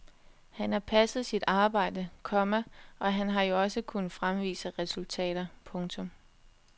Han har passet sit arbejde, komma og han har jo også kunnet fremvise resultater. punktum